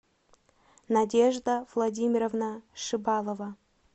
надежда владимировна шибалова